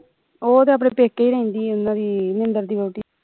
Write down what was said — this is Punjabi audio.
ਉਹ ਤੇ ਆਪਣੇ ਪੇਕੇ ਰਹਿੰਦੀ ਉਨ੍ਹਾਂ ਦੀ ਨਿੰਦਰ ਦੀ ਵਹੁਟੀ